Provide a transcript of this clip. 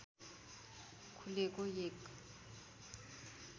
खुलेको एक